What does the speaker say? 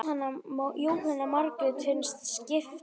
Jóhanna Margrét: Fyrsta skipti?